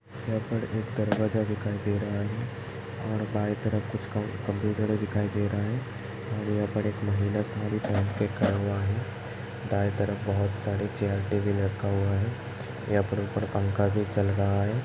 यहाँ पर एक दरवजा दिखाई दे रहा है और बाये तरफ कुछ कम्प्यूटर दिखाई दे रहे हैं और यहाँ पर एक महिला साड़ी पेहन के खड़ा हुआ है। दाए तरफ बहुत सारे चैर टेबल रखा हुआ है । यहाँ पर ऊपर पंखा भी चल रहा है।